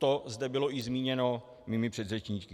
To zde bylo i zmíněno mými předřečníky.